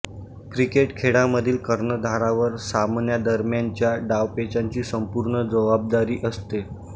cricket खेळामधील कर्णधारावर सामन्यादरम्यानच्या डावपेचांची संपूर्ण जबाबदारी असते